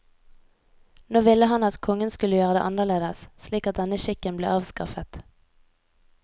Nå ville han at kongen skulle gjøre det annerledes, slik at denne skikken ble avskaffet.